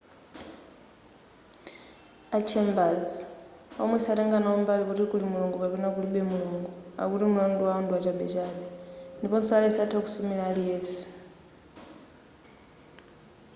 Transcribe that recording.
a chambers womwe satenga nawo mbali kuti kuli mulungu kapena kulibe mulungu akuti mulandu wawo ndi wachabechabe ndiponso aliyense atha kusumira aliyense